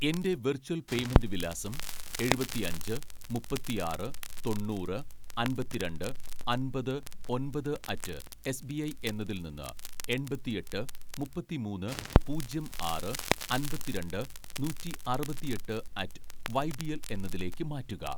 എൻ്റെ virtual payment വിലാസം എഴുപത്തിഅഞ്ച് മുപ്പത്തിആറ് തൊണ്ണൂറ് അമ്പത്തിരണ്ട് അമ്പത് ഒന്‍പത് അറ്റ്‌ എസ്‌ ബി ഐ എന്നതിൽ നിന്ന് എണ്‍പത്തിഎട്ട് മുപ്പത്തിമൂന്ന് പൂജ്യം ആറ് അമ്പത്തിരണ്ട് നൂറ്റി അറുപത്തിയെട്ട് അറ്റ്‌ വൈബിഎൽ എന്നതിലേക്ക് മാറ്റുക